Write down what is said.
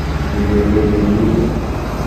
Mi betut ne kiibut?